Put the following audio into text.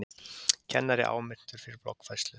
Kennari áminntur fyrir bloggfærslu